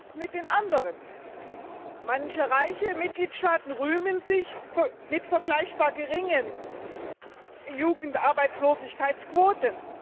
Was ist mit den anderen? Manche reiche Mitgliedstaaten rühmen sich vergleichbar geringer Jugendarbeitslosigkeitsquoten.